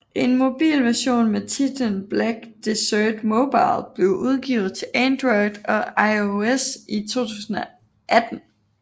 En mobil version med titlen Black Desert Mobile blev udgivet til Android og iOS i 2018